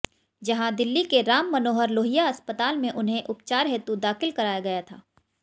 जहां दिल्ली के राम मनोहर लोहिया अस्पताल में उन्हें उपचार हेतु दाखिल कराया गया था